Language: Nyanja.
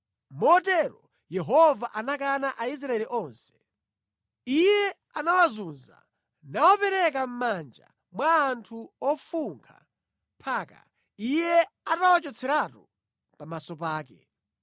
Motero Yehova anakana Aisraeli onse. Iye anawazunza nawapereka mʼmanja mwa anthu ofunkha mpaka Iye atawachotseratu pamaso pake.